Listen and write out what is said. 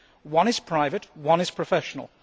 One is private, one is professional.